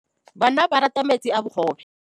Bana ba rata metsi a mogobe.